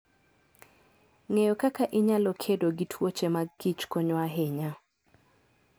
Ng'eyo kaka inyalo kedo gi tuoche mag kich konyo ahinya.